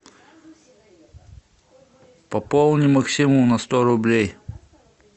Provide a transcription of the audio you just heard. пополни максиму на сто рублей